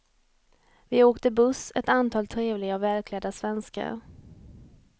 Vi åkte buss, ett antal trevliga och välklädda svenskar.